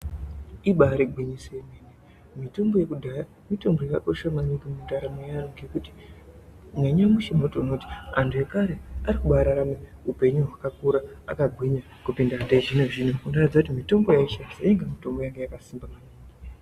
Ibaari gwinyiso yemene mitombo yekudhaya mitombo yakakosha maningi mundaramo yeantu ngekuti nanyamushi unotoona kuti antu ekare arikubaarama upenyu hwakakura, akagwinya kupinda yechizvino-zvino. Kutoratidza kuti mitombo yaaishandisa yainga yakasimba maningi.